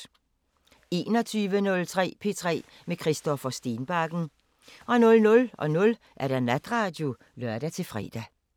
21:03: P3 med Christoffer Stenbakken 00:05: Natradio (lør-fre)